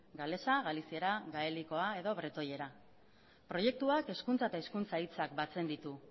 galeza galiziera gaelikoa edo bretoiera proiektuak hezkuntza eta hizkuntza hitzak batzen ditu